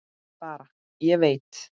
Bara: Ég veit.